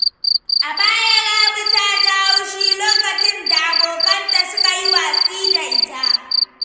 A bara, Rabi ta ji haushi lokacin da abokanta suka yi watsi da ita.